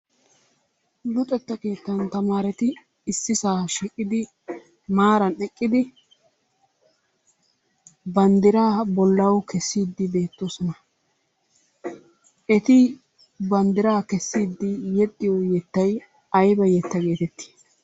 Luxetta keettan tamaareti issisaa shiiqidi maaran eqqidi banddiraa bollawu kessiiddi beettoosona. Eti banddiraa kessiiddi yexxiyo yettayi ayba yetta geetettii?